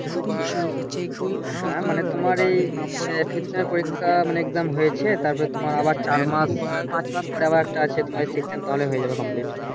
হ্যাঁ মানে তোমার এই Sixth সেম এর পরীক্ষা মানে এক্সাম হয়েছে তারপরে তোমার আবার চার মাস পাঁচ মাস পরে আবার একটা আছে তোমার Sixth সেম হয়ে যাবে কমপ্লিট